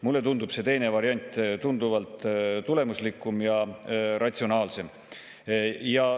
Mulle tundub see teine variant tunduvalt tulemuslikum ja ratsionaalsem.